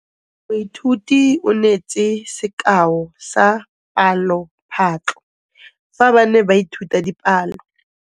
Moithuti o neetse sekaô sa palophatlo fa ba ne ba ithuta dipalo.